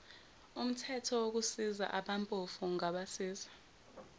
umthethowokusiza abampofu ungabasiza